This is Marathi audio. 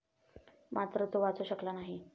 मात्र तो वाचू शकला नाही.